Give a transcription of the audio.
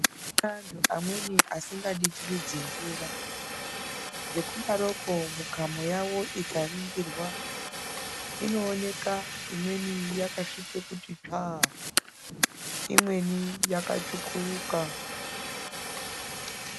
Antu amweni asingaditiridzi mvura, ngekudaroko mikamo yavo ikaringirwa inooneka imweni yakasvipe kuti tsvaa, imweni yakatsvukuruka.